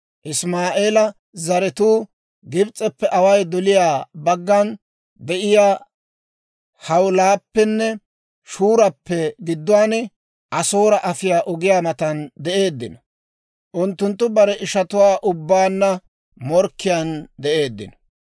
Isimaa'eela zaratuu Gibs'eppe away doliyaa baggan de'iyaa Hawiilappenne Shurappe gidduwaan, Asoora afiyaa ogiyaa matan de'eeddino. Unttunttu barenttu ishatuwaa ubbaanna morkkiyaan de'eeddino.